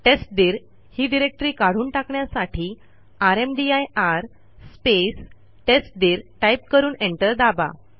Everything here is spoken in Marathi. टेस्टदीर ही डिरेक्टरी काढून टाकण्यासाठी रामदीर स्पेस टेस्टदीर टाईप करून एंटर दाबा